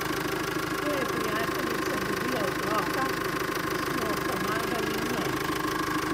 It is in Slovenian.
Ko je prijateljica dobila otroka, smo pomagali njej.